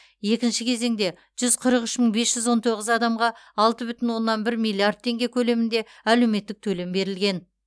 екінші кезеңде жүз қырық үш мың бес жүз он тоғыз адамға алты бүтін оннан бір миллиард теңге көлемінде әлеуметтік төлем берілген